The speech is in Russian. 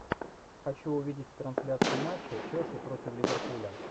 хочу увидеть трансляцию матча челси против ливерпуля